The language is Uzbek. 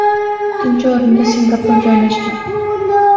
Ikkinchi o‘rinda Singapur joylashdi.